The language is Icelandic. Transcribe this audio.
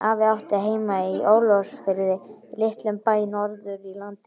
Afi átti heima í Ólafsfirði, litlum bæ norður í landi.